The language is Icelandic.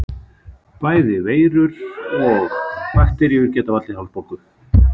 Bæði veirur og bakteríur geta valdið hálsbólgu.